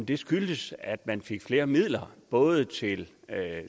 det skyldtes at man fik flere midler både til